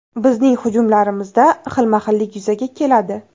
Bizning hujumlarimizda xilma-xillik yuzaga keladi.